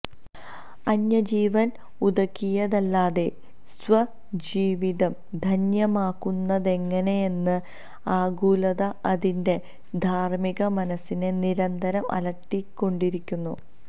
അന്യജീവന് ഉതകിയതല്ലാതെ സ്വജീവിതം ധന്യമാക്കുന്നതെങ്ങെനെയെന്ന ആകുലത അതിന്റെ ധാര്മിക മനസ്സിനെ നിരന്തരം അലട്ടിക്കൊണ്ടിരിക്കുന്നു